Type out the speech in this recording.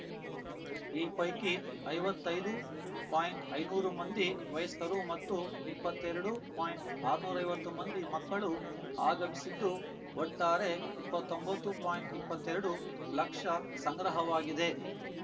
ಈ ಪೈಕಿ ಐವತ್ತೈದು ಪಾಯಿಂಟ್ಐನೂರು ಮಂದಿ ವಯಸ್ಕರು ಮತ್ತು ಇಪ್ಪತ್ತೆರಡು ಪಾಯಿಂಟ್ಆರ್ನೂರ ಐವತ್ತು ಮಂದಿ ಮಕ್ಕಳು ಆಗಮಿಸಿದ್ದು ಒಟ್ಟಾರೆ ಇಪ್ಪತ್ತೊಂಬತು ಪಾಯಿಂಟ್ ಇಪ್ಪತ್ತೆರಡು ಲಕ್ಷ ಸಂಗ್ರಹವಾಗಿದೆ